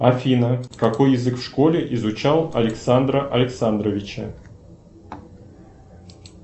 афина какой язык в школе изучал александра александровича